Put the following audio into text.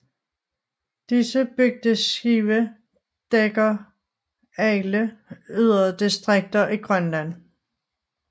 Disse bygdeskibe dækker alle yderdistrikter i Grønland